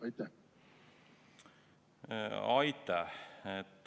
Aitäh!